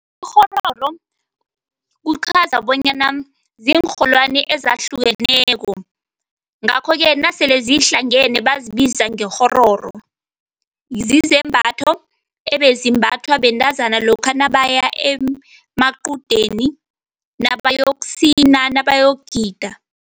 Ikghororo kuchaza bonyana ziinrholwani ezahlukeneko, ngakho-ke nasele zihlangene bazibiza ngekghororo. Zizembatho ebezimbathwa bentazana lokha nabaya emaqudeni nabayokusina, nabayokugida.